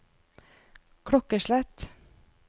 klokkeslett